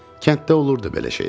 Kənddə olurdu belə şeylər.